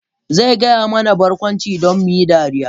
Zai gaya mana barkwanci don mu yi dariya.